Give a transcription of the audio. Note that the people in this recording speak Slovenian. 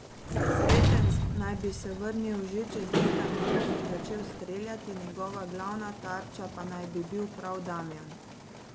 Sreten naj bi se vrnil že čez nekaj minut in začel streljati, njegova glavna tarča pa naj bi bil prav Damjan.